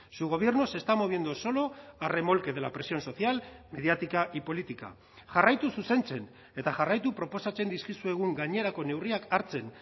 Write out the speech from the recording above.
su gobierno se está moviendo solo a remolque de la presión social mediática y política jarraitu zuzentzen eta jarraitu proposatzen dizkizuegun gainerako neurriak hartzen